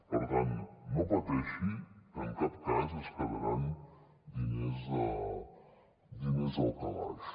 per tant no pateixi que en cap cas es quedaran diners al calaix